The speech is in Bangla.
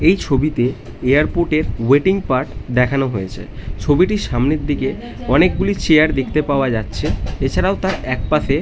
এই ছবিতে এয়ারপোর্ট -এর ওয়েটিং পার্ট দেখানো হয়েছে ছবিটির সামনের দিকে অনেকগুলি চেয়ার দেখতে পাওয়া যাচ্ছে এছাড়াও তার একপাশে--